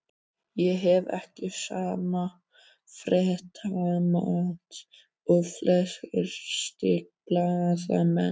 Ég hef ekki sama fréttamat og flestir blaðamenn.